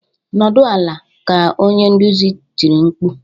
"Nọdụ ala!" ka onye nduzi tiri mkpu